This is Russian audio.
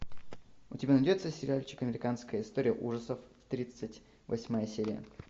у тебя найдется сериальчик американская история ужасов тридцать восьмая серия